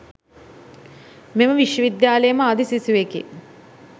මෙම විශ්ව විද්‍යාලයේම ආදි සිසුවෙකි